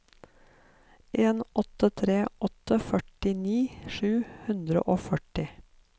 en åtte tre åtte førtini sju hundre og førti